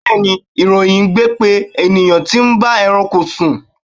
Bẹẹni, ìròyìn gbe pé ènìyàn tí ń bá ẹranko sùn.